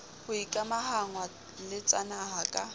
ho ikamahangwa le tsanaha ka